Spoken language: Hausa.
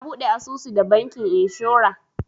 Na buɗe asusu da bankin inshora.